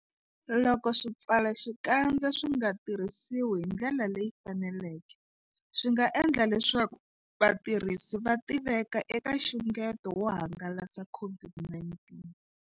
Loko swipfalaxikandza swi nga tirhisiwi hi ndlela leyi faneleke, swi nga endla leswaku vatirhisi va tiveka eka nxungeto wo hangalasa COVID-19.